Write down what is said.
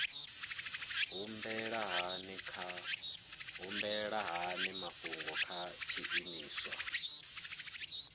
humbela hani mafhungo kha tshiimiswa